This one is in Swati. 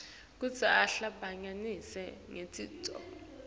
kutsi ahlangabetane netidzingo